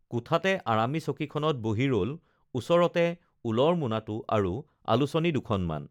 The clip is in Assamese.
কোঠাতে আৰামী চকীখনত বহি ৰল ওচৰতে ঊলৰ মোনাটো আৰু আলোচনী দুখনমান